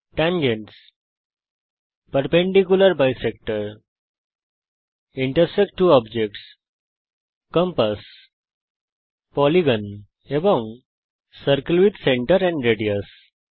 Tangents Perpendicular bisector Intersect ত্ব objects Compass Polygon Circle with centre and radius